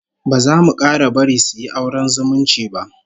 Ba za mu 'kara bari suyi auren zumunci ba